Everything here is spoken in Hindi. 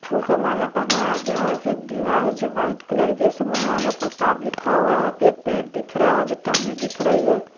फूल का माला पहनाया गया है फिर एक दिवार है जो वाइट कलर की है जिसमे महाराणा प्रताप लिखा हुआ है फिर एक पेड़ दिख रहा है जो टहनी दिख रही है।